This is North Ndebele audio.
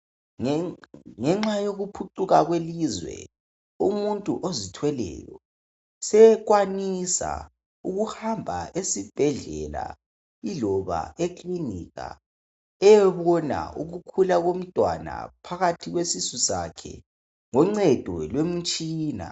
Ngenxa yokuphucuka kwelizwe umuntu ozithweleyo sekwanisa ukuhamba esibhedlela kumbe ekiliniki eyebona ukukhula lomntwana phakathi kwesisu sakhe ngoncedo lomtshina.